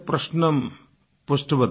प्रश्नं पृष्टवती